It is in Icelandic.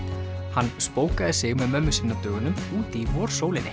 hann sig með mömmu sinni á dögunum úti í